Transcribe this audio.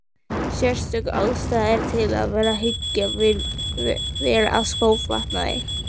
Sérstök ástæða er til þess að hyggja vel að skófatnaði.